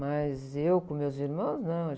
Mas eu, com meus irmãos, não.